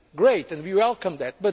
Great, and we welcome